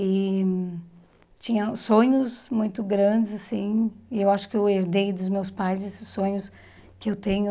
E tinha sonhos muito grandes, assim, e eu acho que eu herdei dos meus pais esses sonhos que eu tenho.